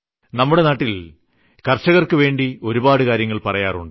നമ്മുടെ നാട്ടിൽ കർഷകർക്കുവേണ്ടി ഒരുപാട് കാര്യങ്ങൾ പറയാറുണ്ട്